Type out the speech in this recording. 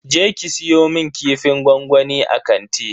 Je ki siyo mun kifin gwangwamin a kanti.